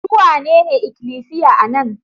Su wanene ikilisiya a nan?